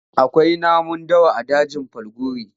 Akwai namun dawa a dajin Falgore.